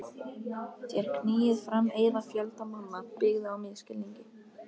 Þér knýið fram eiða fjölda manna, byggða á misskilningi.